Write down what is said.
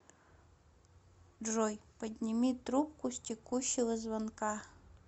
джой подними трубку с текущего звонка